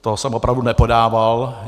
To jsem opravdu nepodával.